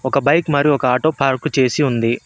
ఒక బైక్ మరియు ఒక ఆటో పార్కు చేసి ఉంది.